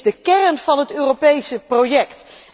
Het is de kern van het Europese project.